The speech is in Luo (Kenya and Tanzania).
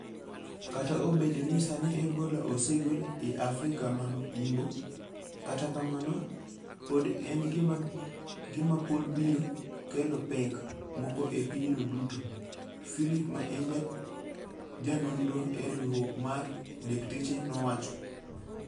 Kata obedo ni sani Ebola osegol e Afrika ma Yimbo, kata kamano, pod en gima pod biro kelo pek moko e pinyno duto. Philip ma en ja nondro e riwrok mar dakteche nowacho